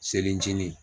Selejini